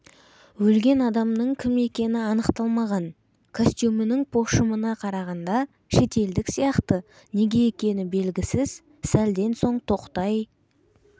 өлген адамның кім екені анықталмаған костюмінің пошымына қарағанда шетелдік сияқты неге екені белгісіз сәлден соң тоқтай